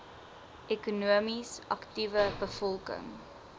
ekonomies aktiewe bevolking